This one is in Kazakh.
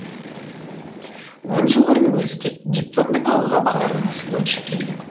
он жыл бұрын өзі де дипломмен ауылға бағдарламасы бойынша келген